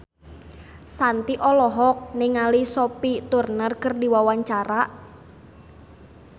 Shanti olohok ningali Sophie Turner keur diwawancara